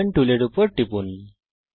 polygon টুলের উপর টিপুন